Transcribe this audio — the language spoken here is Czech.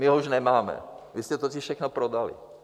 My ho už nemáme, vy jste totiž všechno prodali.